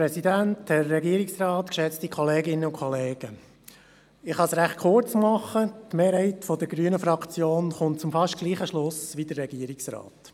Die Mehrheit der Fraktion der Grünen kommt zum fast gleichen Schluss wie der Regierungsrat.